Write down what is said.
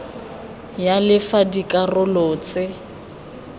ya le fa dikarolo tse